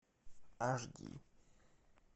аш ди